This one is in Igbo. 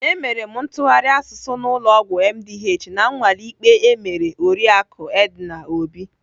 Emere m ntụgharị asụsụ n'ụlọ ọgwụ MDH na nnwale ikpe emere oriaku Edna Obi.